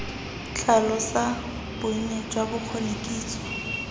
tlhalosa bonnye jwa bokgoni kitso